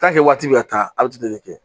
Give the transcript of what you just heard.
waati bɛ ka taa a bɛ kɛ